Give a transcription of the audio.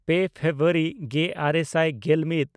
ᱯᱮ ᱯᱷᱮᱵᱨᱩᱣᱟᱨᱤ ᱜᱮᱼᱟᱨᱮ ᱥᱟᱭ ᱜᱮᱞᱢᱤᱫ